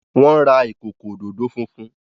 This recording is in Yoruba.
wón ra ikoko ododo funfun